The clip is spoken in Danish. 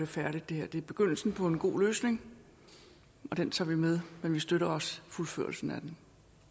færdigt det er begyndelsen på en god løsning og den tager vi med men vi støtter også fuldførelsen